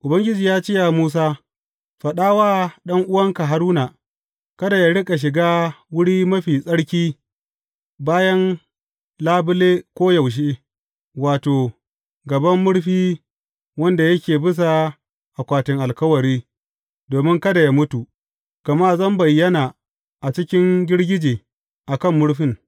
Ubangiji ya ce wa Musa, Faɗa wa ɗan’uwanka Haruna, kada yă riƙa shiga Wuri Mafi Tsarki bayan labule koyaushe, wato, a gaban murfi wanda yake bisa akwatin alkawari, domin kada yă mutu, gama zan bayyana a cikin girgije a kan murfin.